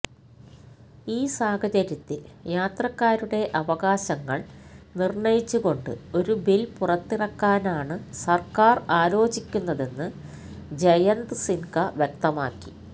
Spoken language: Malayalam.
ഈ സാഹചര്യത്തില് യാത്രക്കാരുടെ അവകാശങ്ങള് നിര്ണയിച്ചുകൊണ്ട് ഒരു ബില് പുറത്തിറക്കാനാണ് സര്ക്കാര് ആലോചിക്കുന്നതെന്ന് ജയന്ത് സിന്ഹ വ്യക്തമാക്കി